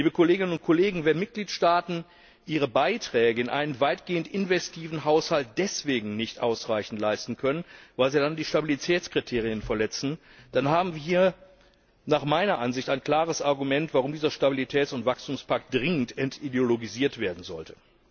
Liebe Kolleginnen und Kollegen, wenn Mitgliedstaaten ihre Beiträge in einem weitgehend investiven Haushalt deswegen nicht ausreichend leisten können, weil sie dann die Stabilitätskriterien verletzen, dann haben wir nach meiner Ansicht ein klares Argument, warum dieser Stabilitäts und Wachstumspakt dringend entideologisiert werden sollte.